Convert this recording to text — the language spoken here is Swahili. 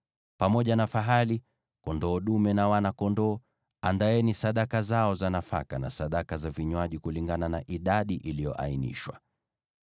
Pamoja na fahali, kondoo dume na wana-kondoo, andaeni sadaka zao za nafaka, na sadaka za vinywaji, kulingana na idadi iliyoainishwa.